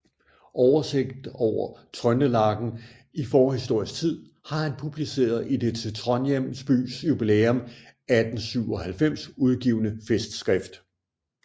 Oversigt over Trøndelagen i forhistorisk Tid har han publiceret i det til Trondhjem Bys Jubilæum 1897 udgivne Festskrift